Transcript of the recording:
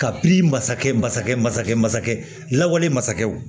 Ka bi masakɛ masakɛ masakɛ masakɛ lawale masakɛw